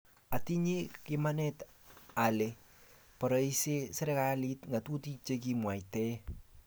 atinye imanit ale barieserikalit ngatutik che kiamwaite